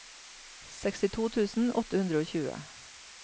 sekstito tusen åtte hundre og tjue